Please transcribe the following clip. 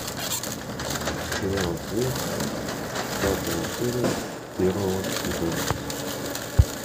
сериал след пятая серия первого сезона